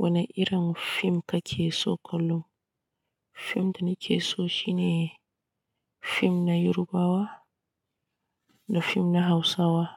Wane irin fim kake so kullum? Fin da nike so shine fim na Yarubawa da fim na Hausawa.